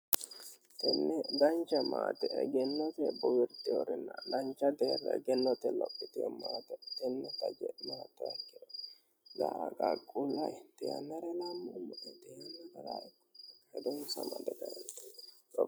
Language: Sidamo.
Tene dancha maate egennotenni bowirtinorenna dancha deerra egennote lophitino maate taje maaxuha ikkiro danchu garinni hedonsa ammade kaentinni.